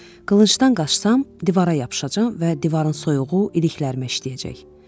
Qılıncdan qaçsam divara yapışacam və divarın soyuğu iliklərimə işləyəcək.